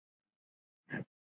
Hvað með þig, elskan.